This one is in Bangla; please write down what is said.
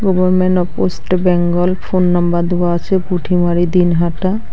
Government of West Bengal phone number দেওয়া আছে পুটিমারি দিনহাটা।